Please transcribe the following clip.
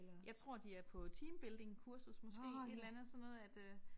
Jeg tror de er på teambuildingkursus måske et eller andet sådan noget at øh